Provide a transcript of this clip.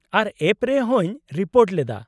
ᱟᱨ app ᱨᱮ ᱦᱚᱸᱧ report ᱞᱤᱫᱟ ᱾